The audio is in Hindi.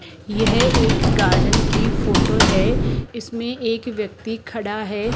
यह एक गार्डन की फोटो है इसमें एक व्यक्ति खड़ा है।